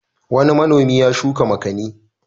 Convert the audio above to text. Wani manomi ya shuka makani.